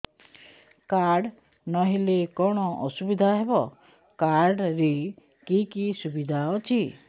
card ନହେଲେ କଣ ଅସୁବିଧା ହେବ କାର୍ଡ ରେ କି କି ସୁବିଧା ଅଛି